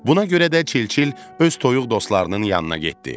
Buna görə də çil-çil öz toyuq dostlarının yanından getdi.